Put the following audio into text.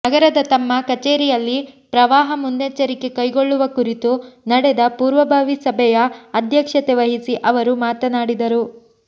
ನಗರದ ತಮ್ಮ ಕಚೇರಿಯಲ್ಲಿ ಪ್ರವಾಹ ಮುನ್ನೆಚ್ಚರಿಕೆ ಕೈಗೊಳ್ಳುವ ಕುರಿತು ನಡೆದ ಪೂರ್ವಭಾವಿ ಸಭೆಯ ಅಧ್ಯಕ್ಷತೆ ವಹಿಸಿ ಅವರು ಮಾತನಾಡಿದರು